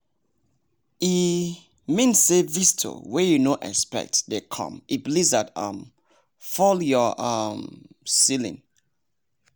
e.mean say visitor wey you no expect dey come if lizard um fall your um ceiling